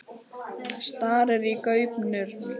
Starir í gaupnir sér.